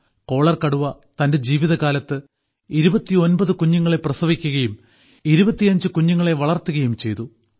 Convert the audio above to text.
collar കടുവ തന്റെ ജീവിതകാലത്ത് 29 കുഞ്ഞുങ്ങളെ പ്രസവിക്കുകയും 25 കുഞ്ഞുങ്ങളെ വളർത്തുകയും ചെയ്തു